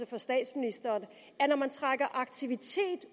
for statsministeren at når man trækker aktivitet